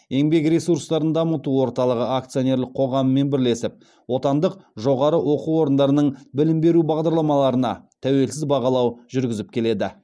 еңбек ресурстарын дамыту орталығы акционерлік қоғамымен бірлесіп отандық жоғары оқу орындарының білім беру бағдарламаларына тәуелсіз бағалау жүргізіп келеді